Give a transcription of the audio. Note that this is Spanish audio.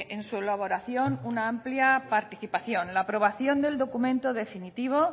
en su elaboración una amplia participación en la aprobación del documento definitivo